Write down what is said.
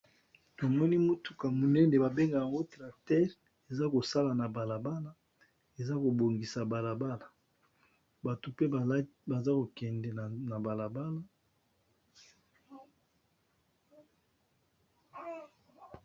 Tomoni motuka monene ba bengaka yango tracteur eza kosala na balabala eza kobongisa balabala bato pe baza kokende na balabala.